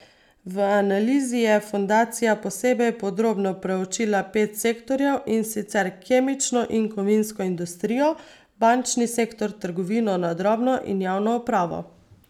V analizi je fundacija posebej podrobno proučila pet sektorjev, in sicer kemično in kovinsko industrijo, bančni sektor, trgovino na drobno in javno upravo.